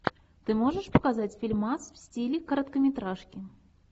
ты можешь показать фильмас в стиле короткометражки